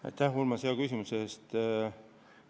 Aitäh, Urmas, hea küsimuse eest!